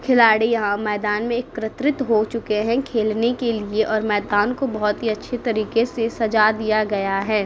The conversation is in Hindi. खिलाड़ी यहाँ मैंदान में एक्रत्रित हो चुके हैं खेलने के लिए और मैंदान को बहोत ही अच्छे तरीक़े से सज़ा दिया गया है।